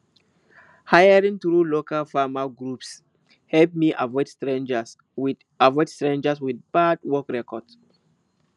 hiring through local farmer groups help me avoid strangers with avoid strangers with bad work records